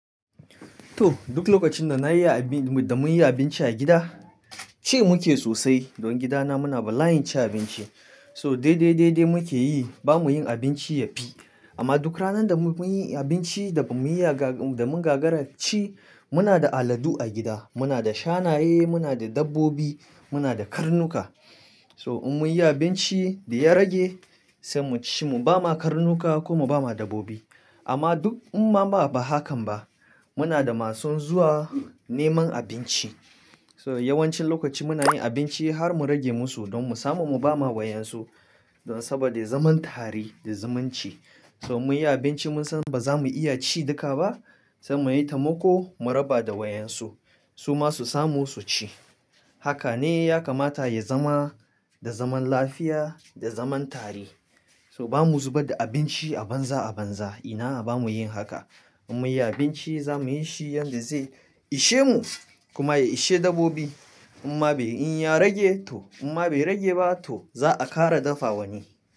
To duk lokacin da na yi da mun yi abinci a gida, ci muke sosai. Don gida na muna ba layin ci abinci. So dai dai dai dai muke yi ba mu yin abinci ya fi. Amma duk ranan da mun yi abinci da mun yaga da mun gagara ci muna da aladu a gida. Muna da shanayen, muna da dabbobi, muna da karnuka. So in mun yi abinci da ya rage sai mu ci mu ba ma karnuka kuma ba ma dabbobi. Amma duk amma ba haka ba muna da masu zuwa neman abinci. So yawancin lokaci muna yin abinci har mu rage musu don mu samu mu ba ma wayan su. Saboda zaman tare da zumunci. So mun yi abinci mun san ba za mu iya ci duka ba sai mu yi ta mako mu raba da wayan su. Su ma su samu su ci. Haka ne ya kamata ya zama da zaman lafiya da zaman tare. So ba mu zubar da abinci a banza a banza. Ina ba mu yin haka. In mun yi abinci za mu yi shi yanda zai ishe mu kuma ya ishe dabbobi. Amma in ya rage to amma bai rage ba to za a ƙara dafa wani.